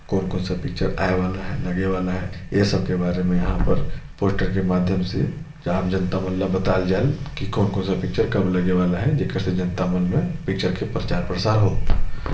कोन कोन सा पिक्चर आए वाला है लगे वाला है ए सब के बारे में यहां पर पोस्टर के माध्यम से आम जनता मन बताए जल की कोन कोन सा पिक्चर कब लगे वाला है जेकर मन से जनता मन मे प्रचार प्रसार हो।